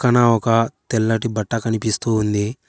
ఇక్కడ ఒక తెల్లటి బట్ట కనిపిస్తూ ఉంది.